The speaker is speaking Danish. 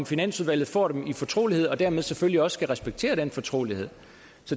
finansudvalget får dem i fortrolighed og dermed selvfølgelig også skal respektere den fortrolighed